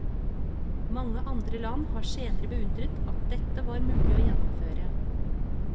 Mange andre land har senere beundret at dette var mulig å gjennomføre.